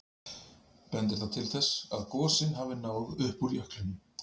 Bendir það til þess að gosin hafi náð upp úr jöklinum.